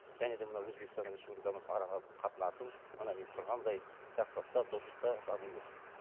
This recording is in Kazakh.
және де мынау өзбекстанмен республикамыз ара қатынасымыз мына мен тұрғандай жақсылықта достықта дами берсін